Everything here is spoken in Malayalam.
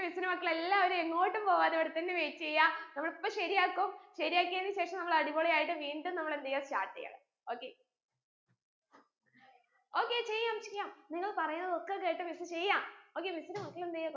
miss ന്റെ മക്കൾ എല്ലാവരും എങ്ങോട്ടും പോവാതെ ഇവിടെ തന്നെ wait എയ്യാ നമ്മൾ ഇപ്പൊ ശരിയാക്കും ശരിയാക്കിയെൻ ശേഷം നമ്മൾ അടിപൊളിയായിട്ട് വീണ്ടും നമ്മൾ എന്തെയ്യ start എയ്യാ okay okay ചെയ്യാം ചെയ്യാം നിങ്ങൾ പറീന്നതൊക്കെ കേട്ട് miss ചെയ്യാം okay miss ന്റെ മക്കൾ എന്തെയ്യാ